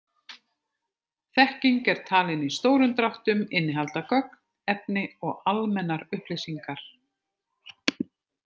Þekking er talin í stórum dráttum innihalda gögn, efni og almennar upplýsingar.